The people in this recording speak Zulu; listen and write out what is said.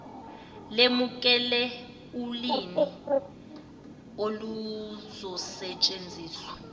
lemukele ulirni oluzosetshenziswa